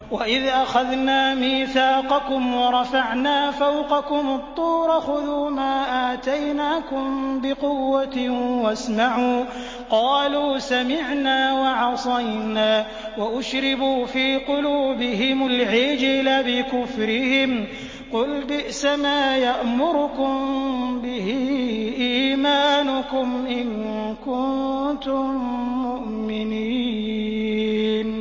وَإِذْ أَخَذْنَا مِيثَاقَكُمْ وَرَفَعْنَا فَوْقَكُمُ الطُّورَ خُذُوا مَا آتَيْنَاكُم بِقُوَّةٍ وَاسْمَعُوا ۖ قَالُوا سَمِعْنَا وَعَصَيْنَا وَأُشْرِبُوا فِي قُلُوبِهِمُ الْعِجْلَ بِكُفْرِهِمْ ۚ قُلْ بِئْسَمَا يَأْمُرُكُم بِهِ إِيمَانُكُمْ إِن كُنتُم مُّؤْمِنِينَ